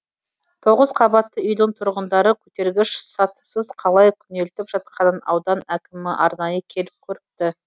тоғыз қабатты үйдің тұрғындары көтергіш сатысыз қалай күнелтіп жатқанын аудан әкімі арнайы келіп көріпті